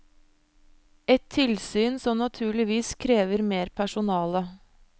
Et tilsyn som naturligvis krever mer personale.